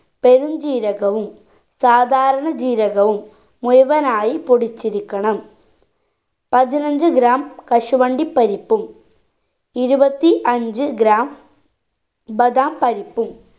പെരും ജീരകവും സാധാരണ ജീരകവും മുഴുവനായി പൊടിച്ചിരിക്കണം പതിനഞ്ച്‌ gram കശുവണ്ടി പരിപ്പും ഇരുപത്തി അഞ്ച്‌ gram ബധാം പരിപ്പും